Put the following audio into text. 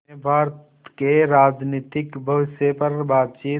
ने भारत के राजनीतिक भविष्य पर बातचीत